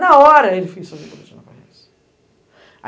Na hora ele fez o boletim de ocorrência.